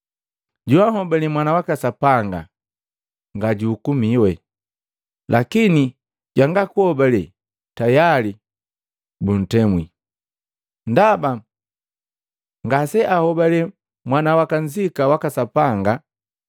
Joanhobale Mwana waka Sapanga ngasejuhukumiwa, lakini jwanga kunhobale tayali buntemwi, ndaba ngaseahobali Mwana wakanzika waka Sapanga.